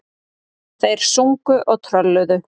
Þeir sungu og trölluðu.